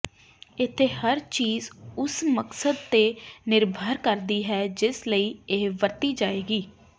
ਇੱਥੇ ਹਰ ਚੀਜ਼ ਉਸ ਮਕਸਦ ਤੇ ਨਿਰਭਰ ਕਰਦੀ ਹੈ ਜਿਸ ਲਈ ਇਹ ਵਰਤੀ ਜਾਏਗੀ